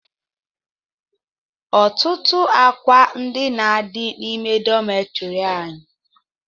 Ọtụtụ àkwà ndina dị n'ime dọmetiri anyị